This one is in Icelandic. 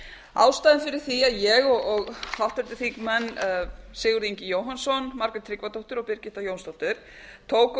ástæðan fyrir var að g og háttvirtur þignemnn sigurður ingi jóhannsson margrét tryggvadóttir og birgitta jónsdóttir tókum